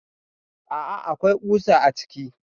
Aa akwai ƙusa a ciki.